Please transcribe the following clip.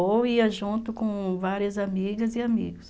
Ou ia junto com várias amigas e amigos.